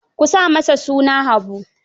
Ku sa masa suna Habu.